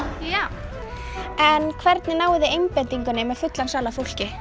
en hvernig náið þið einbeitingu með fullan sal af fólki